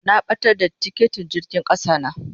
Na batar da tikitin jirgin kasa na.